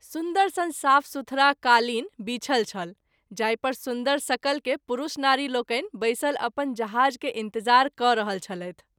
सुन्दर सन साफ सुथरा कालीन बिछल छल जाहि पर सुन्दर सकल के पुरूष नारि लोकनि बैसल अपन जहाज़ के इंतज़ार कय रहल छलैथ।